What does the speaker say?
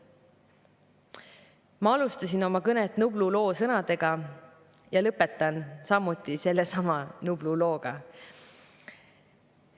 Ma alustasin oma kõnet Nublu loo sõnadega, lõpetan samuti sellesama Nublu looga.